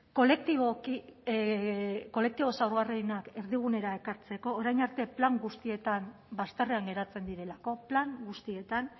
kolektibo zaurgarrienak erdigunera ekartzeko orain arte plan guztietan bazterrean geratzen direlako plan guztietan